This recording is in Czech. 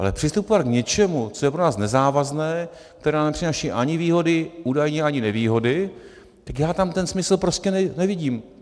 Ale přistupovat k něčemu, co je pro nás nezávazné, co nám nepřináší ani výhody, údajně ani nevýhody, tak já tam ten smysl prostě nevidím.